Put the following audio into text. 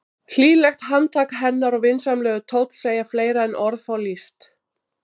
Hlýlegt handtak hennar og vinsamlegur tónn segja fleira en orð fá lýst.